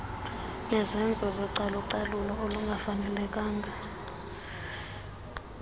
nezenzo zocalucalulo olungafanelekanga